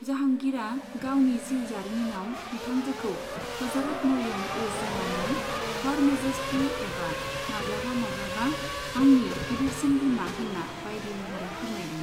जाहांगिरा गावनि जिउ जारिमिनाव बिथांजोखौ हजरत मरियम उज जमानि, 'हर मेजेस्टि' एबा माब्लाबा माब्लाबा 'आंनि गिदिरसिन बिमा' होन्ना बायदि महरै फोरमायदों।